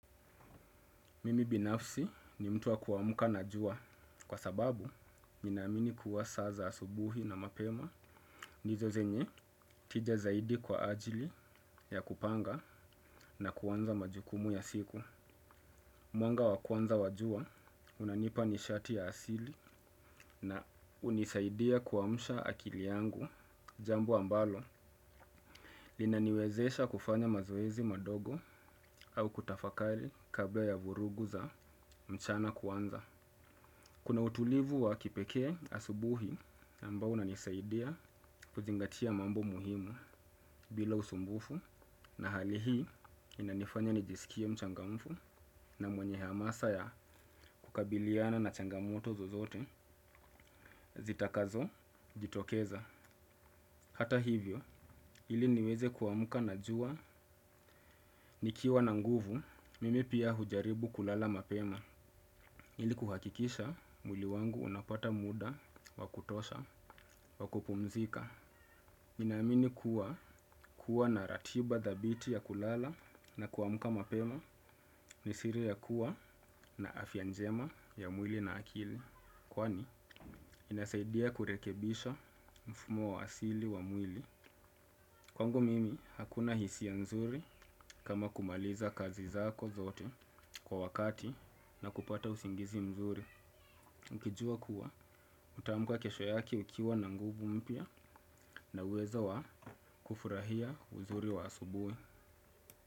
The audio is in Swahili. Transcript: Mimi binafsi ni mtu wa kuamka na jua kwa sababu mi naamini kuwa saa za asubuhi na mapema nizozenye tija zaidi kwa ajili ya kupanga na kuanza majukumu ya siku. Mwanga wakwanza wajua unanipa nishati ya asili na unisaidia kuamsha akili yangu, jambo ambalo, linaniwezesha kufanya mazoezi madogo au kutafakari kabla ya vurugu za mchana kuanza. Kuna utulivu wa kipekee asubuhi ambao unanisaidia kuzingatia mambo muhimu bila usumbufu na hali hii inanifanya nijisikie mchangamfu na mwenye hamasa ya kukabiliana na changamuto zozote zitakazo jitokeza. Hata hivyo, ili niweze kuamka na jua, nikiwa na nguvu, mimi pia hujaribu kulala mapema, ili kuhakikisha mwili wangu unapata mda, wakutosha, wakupumzika. Mi naamini kuwa, kuwa na ratiba dhabiti ya kulala na kuamka mapema, nisiri ya kuwa na afya njema ya mwili na akili, kwani inasaidia kurekebisha mfumo wa asili wa mwili. Kwangu mimi hakuna hisia mzuri kama kumaliza kazi zako zote kwa wakati na kupata usingizi mzuri. Ukijua kuwa utaamka kesho yake ukiwa na nguvu mpya na uwezo wa kufurahia uzuri wa asubuhi.